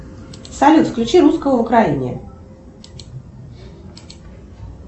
салют включи русского в украине